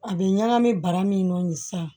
A bɛ ɲagami bara min nɔ sisan